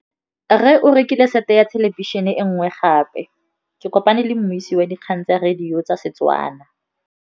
Rre o rekile sete ya thêlêbišênê e nngwe gape. Ke kopane mmuisi w dikgang tsa radio tsa Setswana.